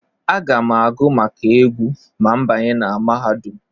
Aga m agụ maka egwu ma m banye na mahadum.